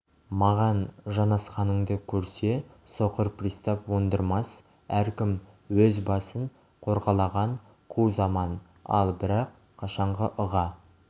маған жанасқанынды көрсе соқыр пристав оңдырмас әркім өз басын қорғалаған қу заман ал бірақ қашанғы ыға